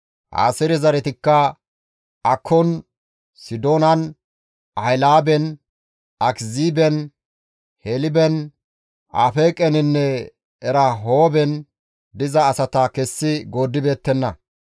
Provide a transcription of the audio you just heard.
Aaseere zaretikka Akkon, Sidoonan, Ahilaaben, Akiziiben, Helben, Afeeqeninne Erahooben diza asata kessi gooddibeettenna.